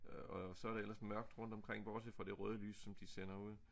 Og så det ellers mørkt rundt omkring bortset fra det røde lys som de sender ud